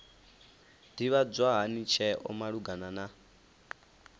ḓivhadzwa hani tsheo malugana na